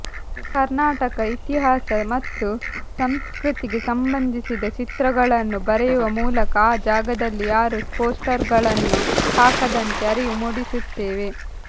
ಕರ್ನಾಟಕ ಇತಿಹಾಸ ಮತ್ತು ಸಂಸ್ಕೃತಿಗೆ ಸಂಬಂಧಿಸಿದ ಚಿತ್ರಗಳನ್ನು ಬರೆಯುವ ಮೂಲಕ ಆ ಜಾಗದಲ್ಲಿ ಯಾರೂ ಪೋಸ್ಟರ್ಗಳನ್ನು ಹಾಕದಂತೆ ಅರಿವು ಮೂಡಿಸುತ್ತೇವೆ